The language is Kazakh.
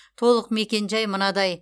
толық мекенжай мынадай